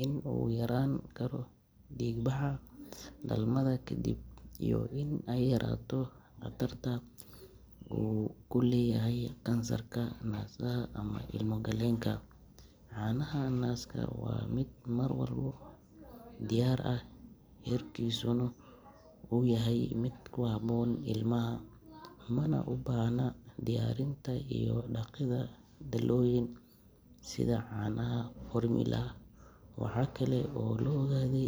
in uu yaraan karo dhiig-baxa dhalmada kadib, iyo in ay yaraato khatarta uu ku leeyahay kansarka naasaha ama ilmo-galeenka. Caanaha naaska waa mid mar walba diyaar ah, heerkulkiisuna uu yahay mid ku habboon ilmaha, mana u baahna diyaarinta iyo dhaqidda dhalooyin sida caanaha formula. Waxaa kale oo la ogaaday in.